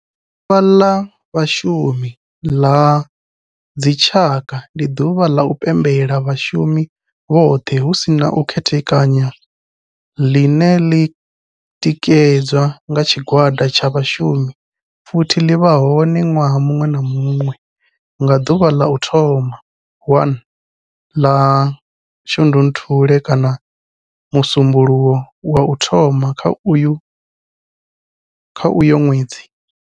Ḓuvha la vhashumi la dzi tshaka, ndi duvha la u pembela vhashumi vhothe hu si na u khethekanya line li tikedzwa nga tshigwada tsha vhashumi futhi li vha hone nwaha munwe na munwe nga duvha la u thoma 1 la Shundunthule kana musumbulowo wa u thoma kha uyo nwedzi.